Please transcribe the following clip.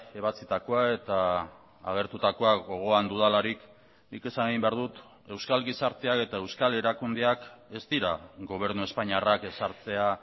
ebatzitakoa eta agertutakoa gogoan dudalarik nik esan egin behar dut euskal gizartea eta euskal erakundeak ez dira gobernu espainiarrak ezartzea